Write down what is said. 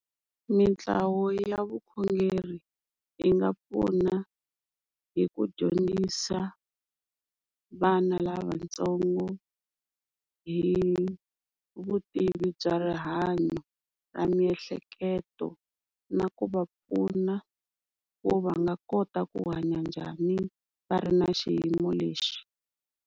Mintlawa ya vukhongeri yi nga pfuna hi ku dyondzisa vana lavatsongo hi vutivi bya rihanyo ra miehleketo, na ku va pfuna ku va nga kota ku hanya njhani va ri na xiyimo lexi.